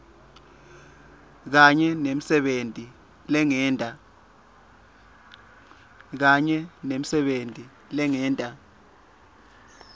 kanye nemisebenti lengeta